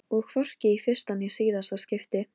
Kristrós, hvað er á dagatalinu mínu í dag?